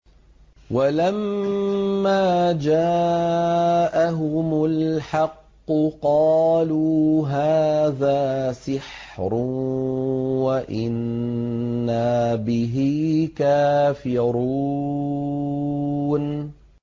وَلَمَّا جَاءَهُمُ الْحَقُّ قَالُوا هَٰذَا سِحْرٌ وَإِنَّا بِهِ كَافِرُونَ